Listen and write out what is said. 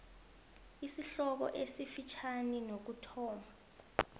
isihloko esifitjhani nokuthoma